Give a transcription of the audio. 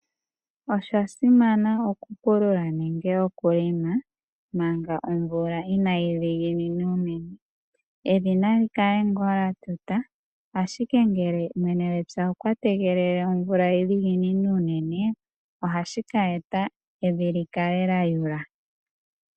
Osha simana okupulula nenge okulima, manga omvula inaayi dhiginina unene. Evi nali kale ngaa lyatuta, ashike ngele mwene gwepya okwa tegelele omvula yi dhiginine unene, ohashi ka eta evi likale lyayula.